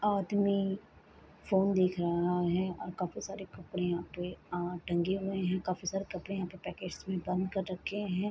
आदमी फ़ोन देख रहा है और काफी सारे कपड़े यहाँ पे आ टंगे हुए है काफी सारे कपड़े यहाँ पे पैकेट्स में बंद कर रखे है ।